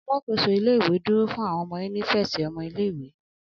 Alakoso ile-iwe duro fun awọn inifẹsi ọmọ ile-iwe.